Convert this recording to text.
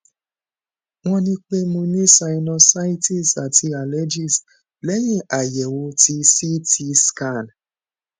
won ni pe mo ni sinusitis ati allergies lẹyìn ayewo tí ct scan